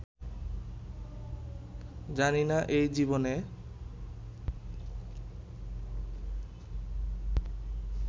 জানি না, এই জীবনে